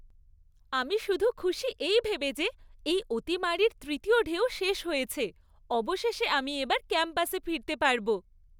আমি শুধু খুশি এই ভেবে যে এই অতিমারীর তৃতীয় ঢেউ শেষ হয়েছে। অবশেষে আমি এবার ক্যাম্পাসে ফিরতে পারব।